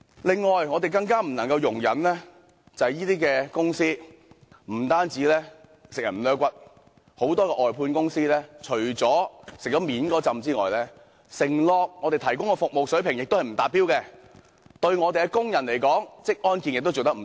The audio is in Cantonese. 此外，我們更不能容忍這些公司不單極盡剝削之能事，很多外判公司在獲取表面的利益之餘，向我們承諾提供的服務水平卻不達標，而對工人的職安健工作亦做得不足。